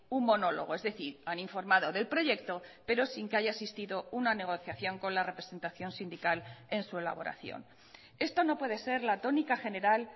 un monólogo es decir han informado del proyecto pero sin que haya existido una negociación con la representación sindical en su elaboración esto no puede ser la tónica general